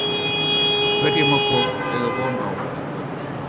Hverju má fólk eiga von á í kvöld?